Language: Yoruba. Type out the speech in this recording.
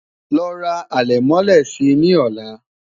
ló rà alè mọlé sí ní ola